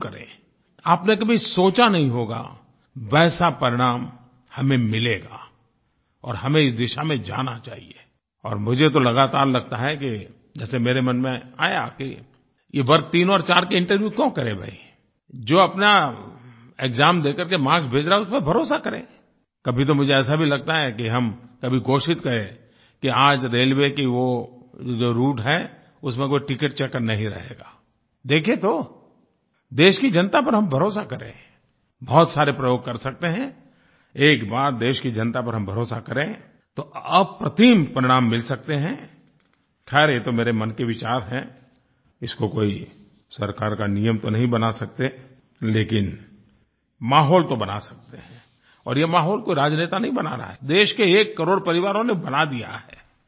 आपने कभी सोचा नहीं होगा वैसा परिणाम हमें मिलेगाI और हमें इस दिशा में जाना चाहिएI और मुझे तो लगातार लगता है कि जैसे मेरे मन में आया कि ये वर्ग 3 और 4 के इंटरव्यू क्यों करें भईI जो अपना एक्साम देकर के मार्क्स भेज रहा है उस पर भरोसा करेंI कभी तो मुझे ऐसा भी लगता है कि हम कभी घोषित करें कि आज रेलवे की वो जो राउटे है उसमें कोई टिकेट चेकर नहीं रहेगाI देखिये तो देश की जनता पर हम भरोसा करेंI बहुत सारे प्रयोग कर सकते हैंI एक बार देश की जनता पर हम भरोसा करें तो अप्रतिम परिणाम मिल सकते हैंI खैर ये तो मेरे मन के विचार हैं इसको कोई सरकार का नियम तो नहीं बना सकते लेकिन माहौल तो बना सकते हैंI और ये माहौल कोई राजनेता नहीं बना रहा हैI देश के एक करोड़ परिवारों ने बना दिया हैI